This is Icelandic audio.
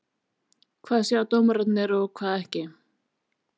Hvað sjá dómararnir og hvað ekki?